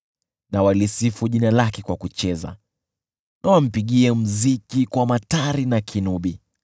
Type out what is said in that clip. Na walisifu jina lake kwa kucheza na wampigie muziki kwa matari na kinubi.